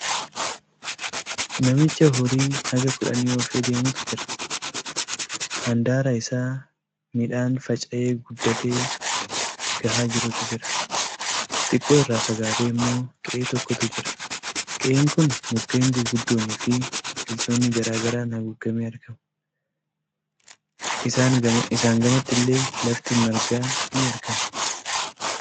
Namicha horii haga kudhanii oofee deemutu jira. Handaara isaa midhaan faca'ee guddatee gahaa jirutu jira. Xiqqoo irraa fagaatee ammoo qe'ee tokkotu jira. Qe'een kun mukkeen gurguddoonifii biqiloota garaa garaan haguugamee argama. isaan gamattillee lafti margaa ni argama.